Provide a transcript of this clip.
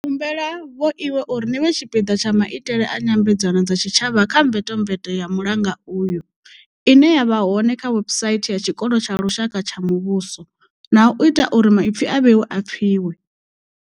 Ndi humbela vhoiwe uri ni vhe tshipiḓa tsha maitele a nyambedzano dza tshi tshavha kha mvetomveto ya mulanga uyu, ine ya vha hone kha webusaithi ya Tshikolo tsha Lushaka tsha Muvhuso, na u ita uri maipfi a vhoiwe a pfiwe.